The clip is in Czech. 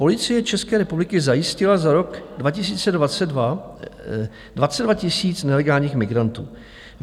Policie České republiky zajistila za rok 2022 22 000 nelegálních migrantů.